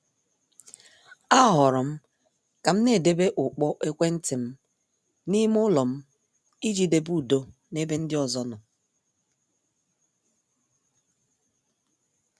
A horom kam na- edebe ukpo ekwentị m n' ime ụlọ m iji debe udo n' ebe ndị ọzọ nọ.